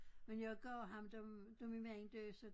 Men jeg gav ham dem da min mand døde så